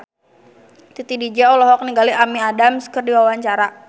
Titi DJ olohok ningali Amy Adams keur diwawancara